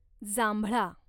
जांभळा